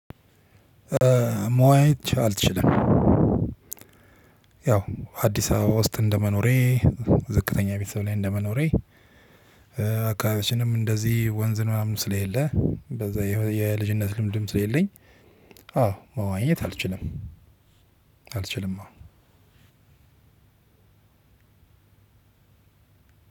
መዋኘት አልችልም። ያው አዲስ አበባ ውስጥ እንደመኖሬ ዝቅተኛ ቤተሰብ ላይ እንደመኖሬ። አካባቢዎችንም እንደዚህ ወንዝን ምናምን ስለሌለ በዛ የልጅነት ልምድም ስለሌለኝ። አዎ መዋኘት አልችልም። አልችልም አዎ